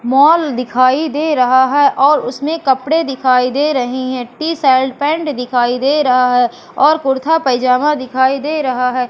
Mall दिखाई दे रहा है और उसमे कपड़े दिखाई दे रही है टी शर्ट पैंट दिखाई दे रहा है और कुर्ता पैजामा दिखाई दे रहा है।